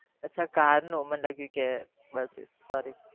અચ્છા car નું મને લાગ્યું કે